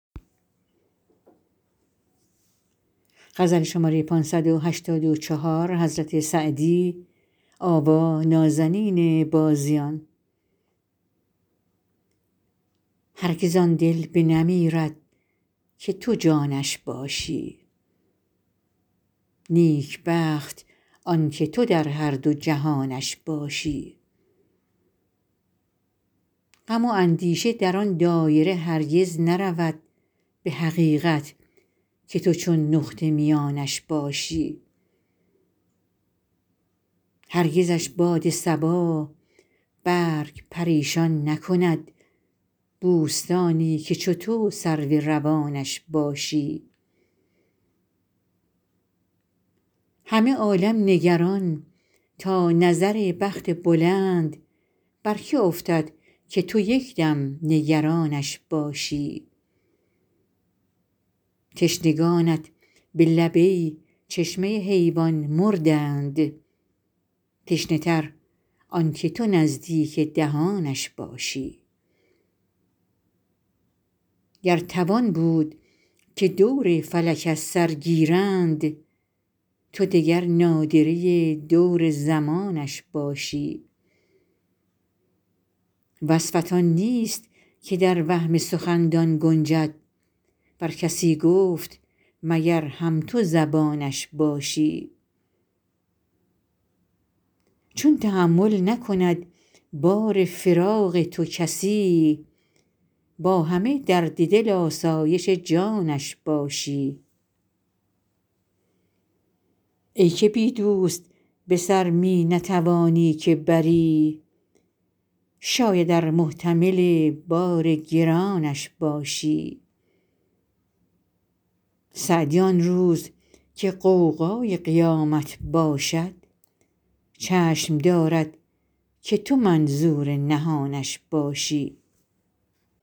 هرگز آن دل بنمیرد که تو جانش باشی نیکبخت آن که تو در هر دو جهانش باشی غم و اندیشه در آن دایره هرگز نرود به حقیقت که تو چون نقطه میانش باشی هرگزش باد صبا برگ پریشان نکند بوستانی که چو تو سرو روانش باشی همه عالم نگران تا نظر بخت بلند بر که افتد که تو یک دم نگرانش باشی تشنگانت به لب ای چشمه حیوان مردند تشنه تر آن که تو نزدیک دهانش باشی گر توان بود که دور فلک از سر گیرند تو دگر نادره دور زمانش باشی وصفت آن نیست که در وهم سخندان گنجد ور کسی گفت مگر هم تو زبانش باشی چون تحمل نکند بار فراق تو کسی با همه درد دل آسایش جانش باشی ای که بی دوست به سر می نتوانی که بری شاید ار محتمل بار گرانش باشی سعدی آن روز که غوغای قیامت باشد چشم دارد که تو منظور نهانش باشی